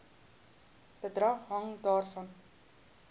bedrag hang daarvan